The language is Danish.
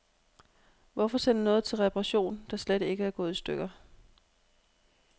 Hvorfor sende noget til reparation, der slet ikke er gået i stykker.